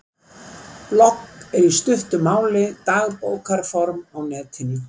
Blogg er í stuttu máli dagbókarform á netinu.